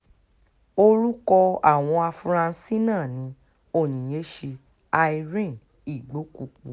orúkọ àwọn afurasí náà ni onyinyechi irene igbokwupu